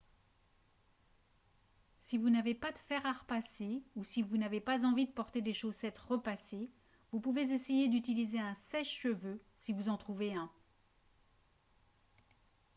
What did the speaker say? si vous n'avez pas de fer à repasser ou si vous n'avez pas envie de porter des chaussettes repassées vous pouvez essayer d'utiliser un sèche-cheveux si vous en trouvez un